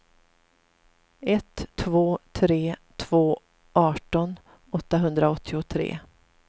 ett två tre två arton åttahundraåttiotre